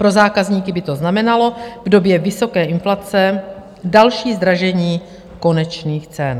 Pro zákazníky by to znamenalo v době vysoké inflace další zdražení konečných cen.